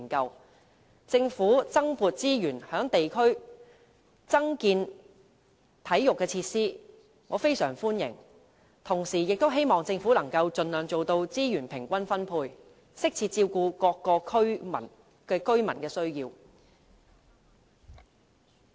對於政府增撥資源在地區增建體育設施，我非常歡迎，同時亦希望政府可以盡量做到資源平均分配，適切照顧各區居民的需要。